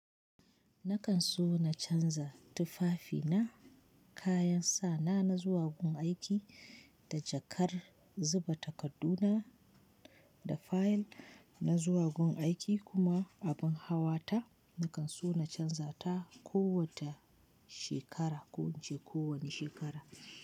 Na kan so na chanza tufafina kayan sawana na zuwa gun aiki da jaka na zuba takardu na da fayil na zuwa gun aiki kuma abin hawa ta nakan so na canza ta kowace shekara, ko wuce ko wani shekara.